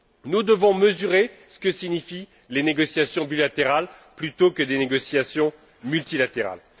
Nous devons mesurer ce que signifient les négociations bilatérales plutôt que des négociations multilatérales.